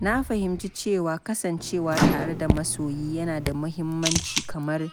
Na fahimci cewa kasancewa tare da masoyi yana da muhimmanci kamar